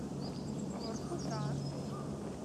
воркута